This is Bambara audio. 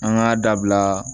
An k'a dabila